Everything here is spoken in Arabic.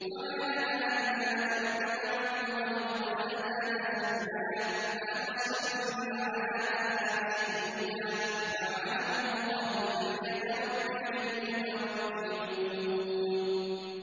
وَمَا لَنَا أَلَّا نَتَوَكَّلَ عَلَى اللَّهِ وَقَدْ هَدَانَا سُبُلَنَا ۚ وَلَنَصْبِرَنَّ عَلَىٰ مَا آذَيْتُمُونَا ۚ وَعَلَى اللَّهِ فَلْيَتَوَكَّلِ الْمُتَوَكِّلُونَ